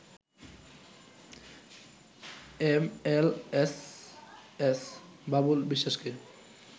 MLSS Babul বিশ্বাসকে